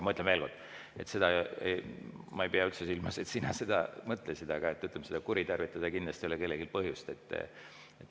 Ütlen aga veel kord – ma ei pea üldse silmas, et sina seda mõtlesid –, et seda kuritarvitada ei ole kindlasti kellelgi põhjust.